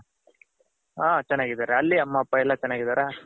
ಹ ಚೆನ್ನಾಗಿದ್ದಾರೆ ಅಲ್ಲಿ ಅಮ್ಮ ಅಪ್ಪ ಎಲ್ಲ ಚೆನ್ನಗಿದರ.